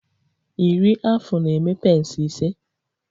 Iri afụ na-eme pence ise